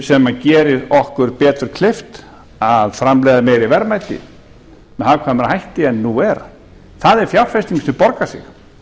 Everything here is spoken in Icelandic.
sem gerir okkur betur kleift að framleiða meiri verðmæti með hagkvæmari hætti en nú er það er fjárfesting sem borgar sig